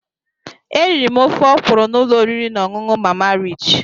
Eriri m ofe ọkwụrụ na ụlọ oriri na ọṅụṅụ Mama Rich.